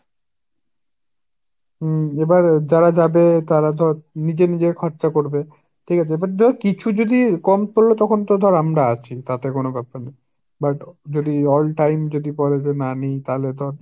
হুঁ এবার যারা যাবে তারা ধর নিজের নিজের খরচা করবে ঠিক আছে, এবার দেখ কিছু যদি কম পড়লে তখন তো ধর আমরা আছি তাতে কোন ব্যাপার না। but যদি all time যদি বলে যে না আমি তালে তো